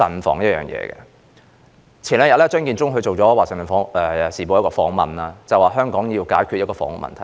張建宗在數天前接受《環球時報》訪問，當中提到香港需要解決房屋問題。